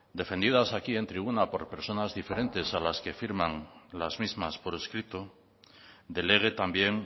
defendidas aquí en tribuna por personas diferentes a las que firman las mismas por escrito delegue también